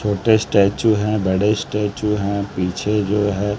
छोटे स्टेच्यू हैं बड़े स्टेच्यू हैं पीछे जो है--